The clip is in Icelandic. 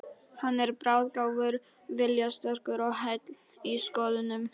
Hann er bráðgáfaður, viljasterkur og heill í skoðunum.